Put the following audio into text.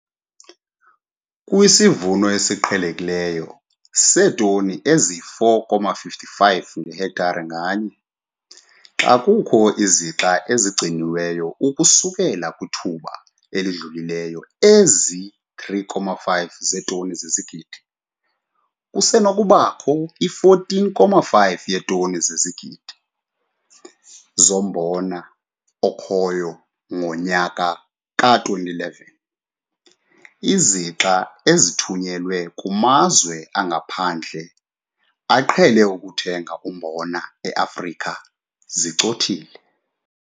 Kwisivuno esiqhelekileyo seetoni ezi-4,55 ngehektare nganye, xa kukho izixa ezigcinwe ukususela kwithuba elidlulileyo ezi3,5 zeetoni ezizigidi, kusenokubakho i-14,5 yeetoni zezigidi zombona okhoyo ngonyaka ka-2011. Izixa ezithunyelwe kumazwe angaphandle aqhele ukuthenga umbona e-Afrika zicothile.